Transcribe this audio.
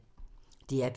DR P3